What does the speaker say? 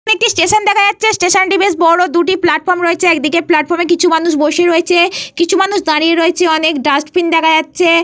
এখানে একটি স্টেশন দেখা যাচ্ছে। স্টেশন টি বেশ বড়। দুটি প্লাটফর্ম রয়েছে। একদিকের কিছু মানুষ বসে রয়েছে কিছু মানুষ দাঁড়িয়ে রয়েছে। অনেক ডাস্টবিন দেখা যাচ্ছে।